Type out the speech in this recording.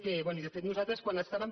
bé i de fet nosaltres quan estàvem